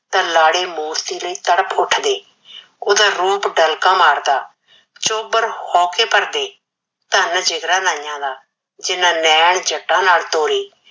ਤਾਂ ਲਾੜੇ ਮੂਰਤੀ ਲਈ ਤੜਪ ਉਠਦੇ। ਉਹਦਾ ਰੂਪ ਦਾ ਡੰਕਾ ਮਾਰਦਾ, ਝੋਬਰ ਹੋਕੇ ਭਰਦੇ, ਧੰਨ ਜਿਗਰਾ ਨਾਈਆ ਦਾ ਜਿਨ੍ਹਾਂ ਨੈਨ ਜੱਟਾਂ ਨਾਲ ਤੋਰੇ।